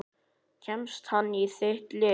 Kemst hann í þitt lið?